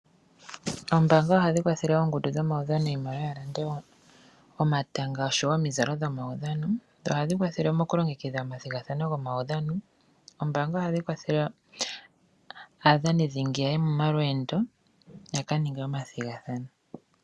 Oombaanga ohadhi kwathele oongundu dhomaudhano iimaliwa ya lande omatanga nosho woo omizalo dhomaudhano, dho ohadhi kwathele mokulongekidha omathigathano gomaudhano. Oombaanga ohadhi kwathele aadhani dhingi ya ye momalweendo ya ka ninge omathigathano.